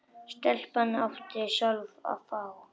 Stelpan átti sjálf að fá.